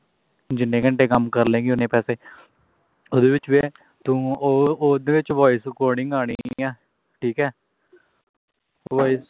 ਜਿੰਨੇ ਘੰਟੇ ਕੰਮ ਕਰ ਲਵੇਗੀ ਉਹਨੇ ਪੈਸੇ ਉਹਦੇ ਵਿੱਚ ਵੀ ਇਹ ਹੈ ਤੂੰ ਉਹ ਉਹਦੇ ਵਿੱਚ voice recording ਆਉਣੀ ਹੈ ਠੀਕ ਹੈ voice recording